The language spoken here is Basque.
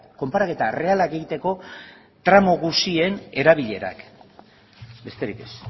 konparaketa errealak egiteko tramo guztien erabilerak besterik ez